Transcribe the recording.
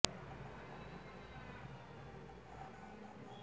প্রয়োজনে বিদেশি বিশেষজ্ঞ নিয়োগ দিয়ে বা কোনো নির্দিষ্ট কাজে দক্ষতার ঘাটতি